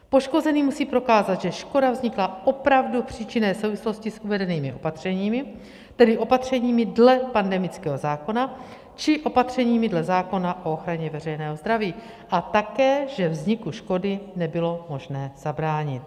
Poškozený musí prokázat, že škoda vznikla opravdu v příčinné souvislosti s uvedenými opatřeními, tedy opatřeními dle pandemického zákona či opatřeními dle zákona o ochraně veřejného zdraví, a také že vzniku škody nebylo možno zabránit.